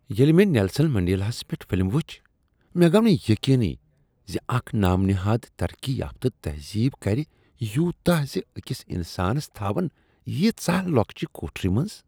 ییٚلہ مےٚ نیلسن منڈیلاہس پیٹھ فلم وٕچھ، مےٚ گوو نہٕ یقینٕی زِ اکھ نام نہاد ترقی یافتہٕ تہذیب کَرِ یوٗتاہ ز أکِس انسانس تھاون ییژاہ لۄکچِہ کوٹھرِ منز۔